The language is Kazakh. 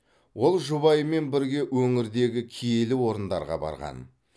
ол жұбайымен бірге өңірдегі киелі орындарға барған